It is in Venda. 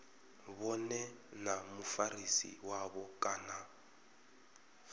vhone na mufarisi wavho kana